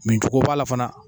Mincogo b'a la fana